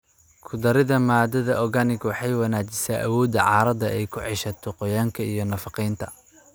Ku darida maadada organic waxay wanaajisaa awooda carrada ay ku ceshato qoyaanka iyo nafaqeynta.